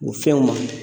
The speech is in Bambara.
U fɛnw ma